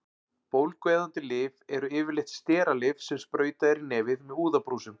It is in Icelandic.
Bólgueyðandi lyf eru yfirleitt steralyf sem sprautað er í nefið með úðabrúsum.